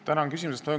Tänan küsimuse eest!